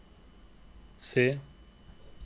se